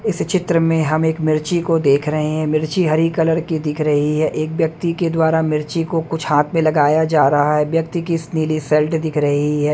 इस चित्र में हम एक मिर्ची को देख रहे हैं मिर्ची हरी कलर की दिख रही है एक व्यक्ति के द्वारा मिर्ची को कुछ हाथ में लगाया जा रहा है व्यक्ति की नीली शर्ट दिख रही है।